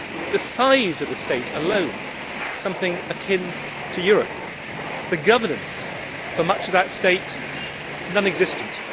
The size of the state alone is something akin to that of Europe the governance for much of that state is non existent